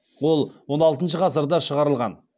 ол он алтыншы ғасырда шығарылған